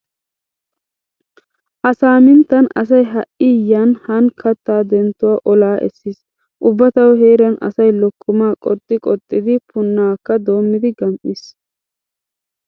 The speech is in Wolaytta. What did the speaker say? Ha saaminttan asay ha"i yaani haani kattaa denttuwa olaa essiis. Ubba tawu heeran asay lokkomaa qoxxi qoxxidi punaakka doommidi gam"iis.